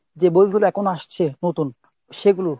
যে বইগুলো এখন আসছে নতুন সেগুলো।